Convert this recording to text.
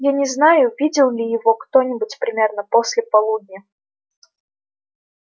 я не знаю видел ли его кто-нибудь примерно после полудня